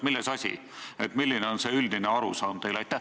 Milles asi, milline on see teie üldine arusaam?